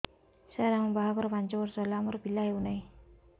ସାର ଆମ ବାହା ଘର ପାଞ୍ଚ ବର୍ଷ ହେଲା ଆମର ପିଲା ହେଉନାହିଁ